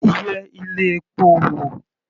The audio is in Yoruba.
Yẹ ilé epo wò.